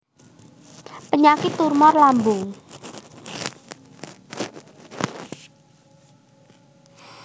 Penyakit tumor lambung